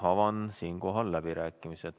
Avan läbirääkimised.